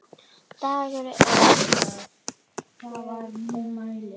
Dagur er að kvöldi kominn.